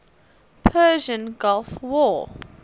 persian gulf war